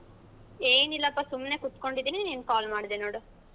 ಏನಿಲ್ಲಪ್ಪಾ ಸುಮ್ನೆ ಕೂತ್ಕೊಂಡಿದ್ದೀನಿ. ನೀನ್ call ಮಾಡ್ಡೆ ನೋಡು.